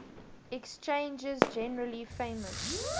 exchanges generally famous